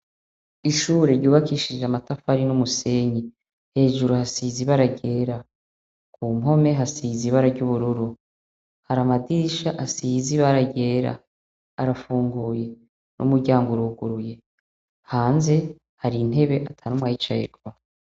Ishure ryubakishije amatafari n'umusenyi, hejuru hasize ibara ryera, ku mpome hasize ibara ry'ubururu, hari amadirisha asize ibara ryera arafunguye n'umuryango uruguruye, hanze hari intebe ata n'umwe ayicayeko.